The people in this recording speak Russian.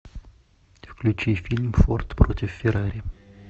включи фильм форд против феррари